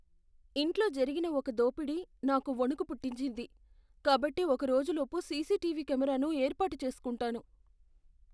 ఇంట్లో జరిగిన ఒక దోపిడీ నాకు వణుకు పుట్టించింది, కాబట్టి ఒక రోజులోపు సీసీటీవీ కెమెరాను ఏర్పాటు చేస్కుంటాను.